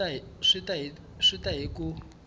swi ta ya hi ku